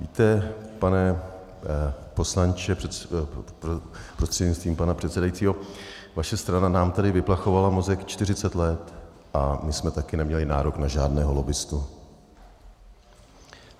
Víte, pane poslanče prostřednictvím pana předsedajícího, vaše strana nám tady vyplachovala mozek 40 let a my jsme taky neměli nárok na žádného lobbistu.